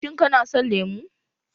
Shin kana son lemu?